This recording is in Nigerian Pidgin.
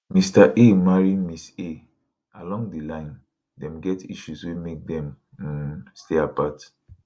mr a marry mrs a along di line dem get issues wey make dem um stay apart